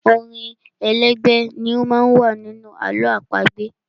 Orin elégbè ni ó má ń wà nínú àlọ́ àpagbè.